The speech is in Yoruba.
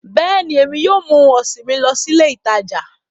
Bẹ́ẹ̀ni, Emi yóò mu ohun ọsin mi lọ si ile itaja